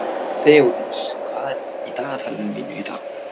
Þeódís, hvað er í dagatalinu mínu í dag?